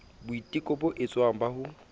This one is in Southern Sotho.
boiteko bo etswang ba ho